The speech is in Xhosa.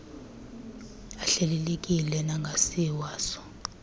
ahlelelekileyo nangasiwa so